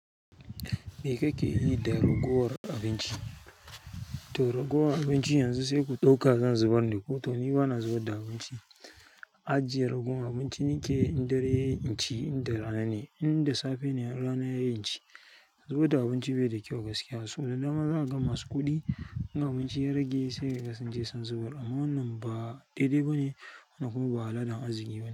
Me kake yi da ragowar abinci? To ragowar abinci yanzu sai ku ɗauka zan zubar da ko to ni bana zubar da abinci. Ajjiye ragowar abinci nake in darai yayi inci inda rana ne, inda safe ne, in rana yayi inci. Zubar da abinci bai da kyau gaskiya. So da dama za ga masu kuɗi in abinci ya rage sai kaga sunje sun zubar amma wannan ba daidai ba ne kuma ba al'adan arziki ba ne.